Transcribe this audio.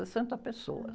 Sessenta pessoas.